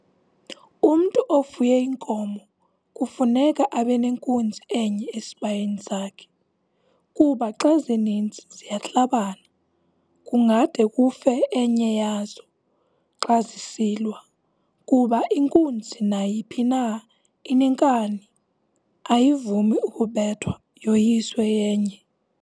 Umntu ofuye inkomo kufuneka abe nenkunzi enye esibayeni sakhe, kuba xa zininzi ziyahlabana kungade kufe enya yazo xa zisilwa kuba inkunzi nayiphi na inenkani, ayivumi ukubethwa yoyiswe yenye.